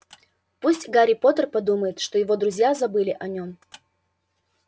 пусть гарри поттер подумает что его друзья забыли о нём